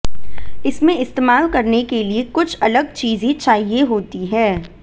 इसमें इस्तेमाल करने के लिए कुछ अलग चीजें चाहिए होती हैं